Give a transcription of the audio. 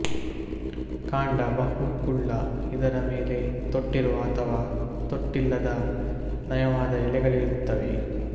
ಕಾಂಡ ಬಹು ಕುಳ್ಳು ಇದರ ಮೇಲೆ ತೊಟ್ಟಿರುವ ಅಥವಾ ತೊಟ್ಟಿಲ್ಲದ ನಯವಾದ ಎಲೆಗಳಿರುತ್ತವೆ